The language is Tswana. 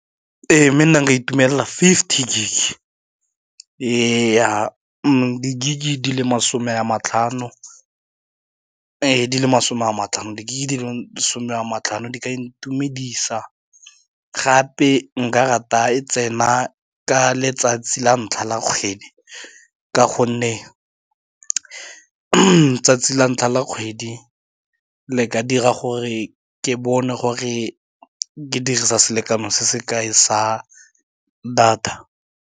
Ee mme nna nka itumelela fifty gig ya gig di le masome a matlhano di ka intumedisa gape nka rata e tsena ka letsatsi la ntlha la kgwedi, ka gonne 'tsatsi la ntlha la kgwedi le ka dira gore ke bone gore ke dirisa selekano se se kae sa data.